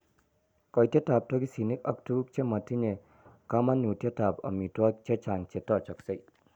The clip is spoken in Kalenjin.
koitetap toksinik ak tuguuk che ma tinyei kamanuutyetap amitwogik, che chaang' che taachaksei